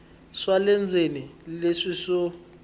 swa le ndzeni leswi swo